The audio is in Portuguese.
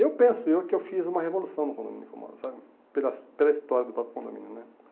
Eu penso eu que eu fiz uma revolução no condomínio que eu moro, sabe, pela his pela história do próprio condomínio né.